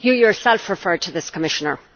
You yourself referred to this, Commissioner.